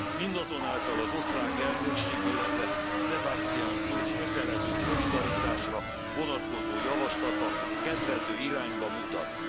Mindazonáltal az osztrák elnökség, illetve Sebastian Kurz kötelező szolidaritásra vonatkozó javaslata kedvező irányba mutat.